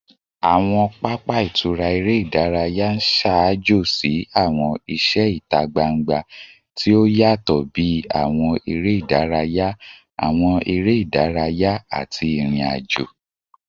Awọn papa itura ere idaraya n ṣaajo si awọn iṣẹ ita gbangba ti o yatọ bi awọn ere idaraya, awọn ere idaraya, ati irin-ajo